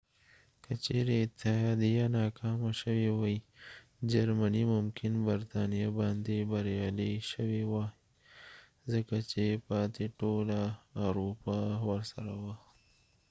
که چیرې اتحادیه ناکامه شوي وای جرمني ممکن برتانیا باندې بریالی شوي وای ځکه چې پاتې ټوله اروپا ورسره وه